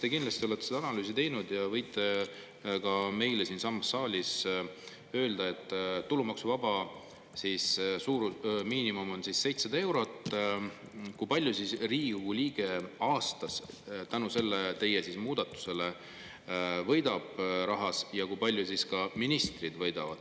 Te kindlasti olete seda analüüsi teinud ja võite ka meile siinsamas saalis öelda, et kui tulumaksuvaba miinimum on 700 eurot, kui palju siis Riigikogu liige aastas tänu sellele teie muudatusele raha võidab ja kui palju ministrid võidavad.